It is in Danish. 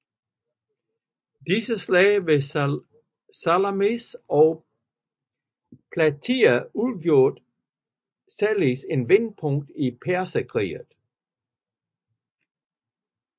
Disse slag ved Salamis og Platæa udgjorde således et vendepunkt i Perserkrigene